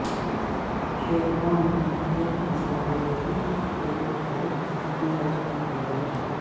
شیرپا ملک کے مسافروں کی ایک بہت اپنی طرف متوجہ